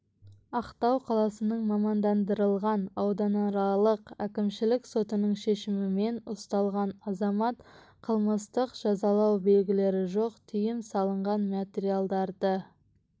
ақтау қаласының мамандандырылған ауданаралық әкімшілік сотының шешімімен ұсталған азамат қылмыстық жазалау белгілері жоқ тыйым салынған материалдарды